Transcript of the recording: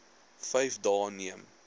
vyf dae neem